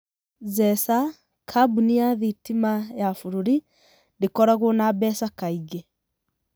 Zesa, kambuni ya thitima ya b?r?ri, nd?koragwo na mbeca kaing?.